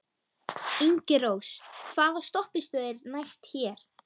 Ingirós, hvaða stoppistöð er næst mér?